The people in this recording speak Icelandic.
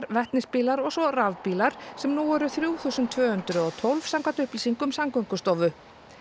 vetnisbílar og svo rafbílar sem nú eru þrjú þúsund tvö hundruð og tólf samkvæmt upplýsingum Samgöngustofu